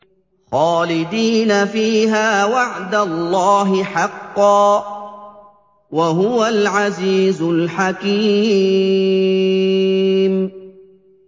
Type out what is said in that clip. خَالِدِينَ فِيهَا ۖ وَعْدَ اللَّهِ حَقًّا ۚ وَهُوَ الْعَزِيزُ الْحَكِيمُ